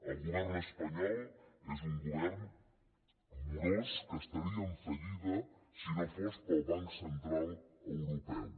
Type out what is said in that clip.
el govern espanyol és un govern morós que estaria en fallida si no fos pel banc central europeu